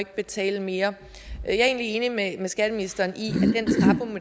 betale mere jeg er egentlig enig med skatteministeren